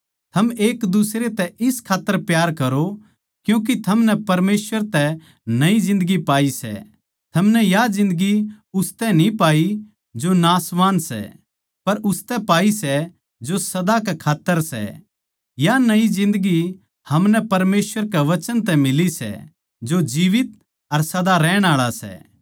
थम एकदुसरे तै इस खात्तर प्यार करो क्यूँके थमनै परमेसवर तै नई जिन्दगी पाई सै थमनै या जिन्दगी उसतै न्ही पाई जो नाशवान सै पर उसतै पाई सै जो सदा कै खात्तर सै या नई जिन्दगी हमनै परमेसवर के वचन तै मिली सै जो जीवीत अर सदा रहण आळा सै